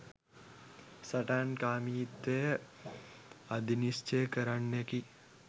සටන්කාමීත්වය අධිනිශ්චය කරන්නකි.